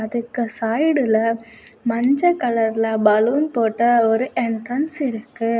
அதுக்கு சைடுல மஞ்ச கலர்ல பலூன் போட்ட ஒரு என்ட்ரன்ஸ் இருக்கு.